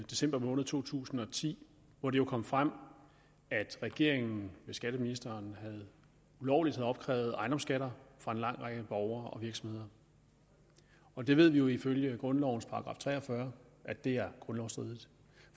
december måned to tusind og ti hvor det kom frem at regeringen skatteministeren ulovligt havde opkrævet ejendomsskatter fra en lang række borgere og virksomheder vi ved jo ifølge grundlovens § tre og fyrre at det er grundlovsstridigt